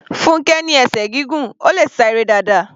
Funkẹ ní esè gígùn, Ó le sá eré dáadáa.